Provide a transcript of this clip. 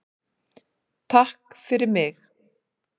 TAKK FYRIR MIG.